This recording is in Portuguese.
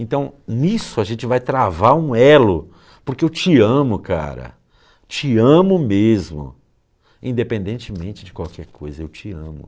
Então, nisso a gente vai travar um elo, porque eu te amo, cara, te amo mesmo, independentemente de qualquer coisa, eu te amo.